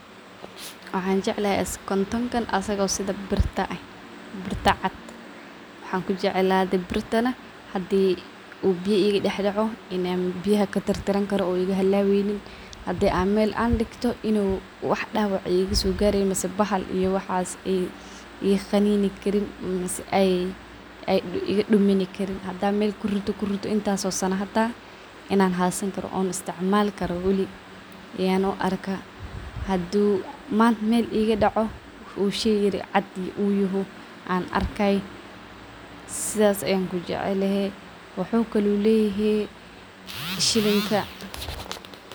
Waxan jeclhy kontonkan asago sida birta eh, birta cad waxan kujeclade birtana hadii uu biya ii ga dax daco, bbioyaha katirtiranjkaor igahalaweynin. Hadi mel an digto dawac igasogareynin , bahal iyo waxs iga qaninio karin , hadan mel kuririto intas o sana an isticmali karo , hadu mel igadaco an sifudud kuarki karo ilen uu cadyahay sifudud aa luguarkkah, sidan ayaan kujecelehe wuxuu kale leyehe shilinka.